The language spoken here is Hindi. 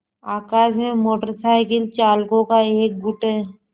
आकाश में मोटर साइकिल चालकों का एक गुट है